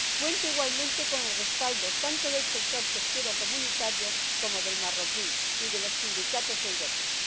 Cuenta, igualmente, con el respaldo tanto del sector pesquero de la Unión como del marroquí, y de los sindicatos europeos.